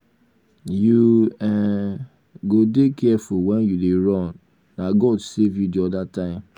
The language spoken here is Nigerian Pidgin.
you um go dey careful wen you dey run na god save you the other time.